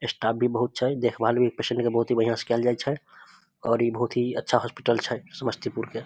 Staff भी बहुत छै देखभाल भी पेशेंट के बहुत बढ़िया से कायल जाय छै और इ बहुत ही अच्छा हॉस्पिटल छै समस्तीपुर के।